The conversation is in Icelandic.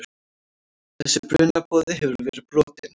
Þessi brunaboði hefur verið brotinn.